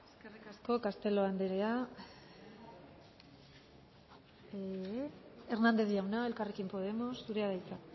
eskerrik asko castelo andrea hernández jauna elkarrekin podemos zurea da hitza